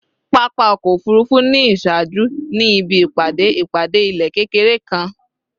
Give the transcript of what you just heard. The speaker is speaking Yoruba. Papa ọkọ ofurufu ni iṣaaju ni ibi ipade ipade ilẹ kekere kan